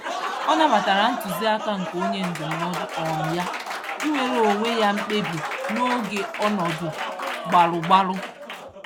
Ọ nabatara ntụziaka nke onye ndụmọdụ um ya, ịnwere onwe ya mkpebi n'oge ọnọdụ gbalụ-gbalụ